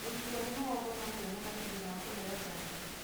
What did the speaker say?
Gũturwo nĩ mũgongo no kũonekane thutha wa kũheo njanjo.